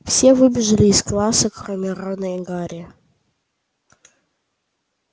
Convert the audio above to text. все выбежали из класса кроме рона и гарри